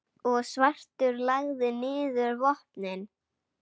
og svartur lagði niður vopnin.